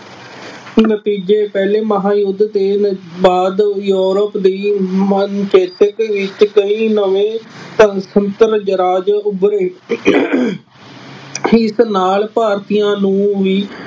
ਨਤੀਜੇ, ਪਹਿਲੇ ਮਹਾਂਯੁੱਧ ਦੇ ਨ ਬਾਅਦ ਯੂਰੋਪ ਦੀ ਮਾਨਸਿਕਤਾ ਵਿੱਚ ਕਈ ਨਵੇਂ ਉੱਭਰੇ। ਇਸ ਨਾਲ ਭਾਰਤੀਆਂ ਨੂੰ ਵੀ